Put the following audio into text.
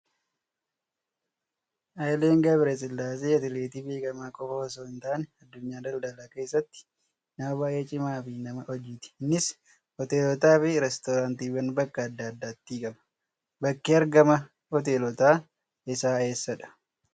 Haayileen Gabrasillaasee atileetii beekamaa qofaa osoo hin taane, addunyaa daldalaa keessattis nama baay'ee cimaa fi nama hojiiti. Innis hoteelotaa fi riizoortiiwwan bakka adda addaatii qaba. Bakki argama hoteelota isaa eessadhaa?